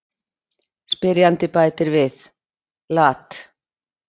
Spyrjandi bætir við: Lat.